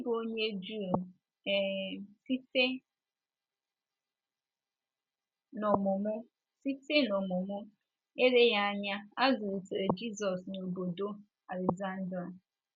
N’ịbụ onye Juu um site n’ọmụmụ, site n’ọmụmụ, eleghị anya a zụlitere Jizọs n’obodo Aleksandria.